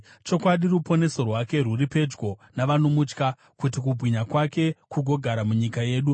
Chokwadi, ruponeso rwake rwuri pedyo navanomutya, kuti kubwinya kwake kugogara munyika yedu.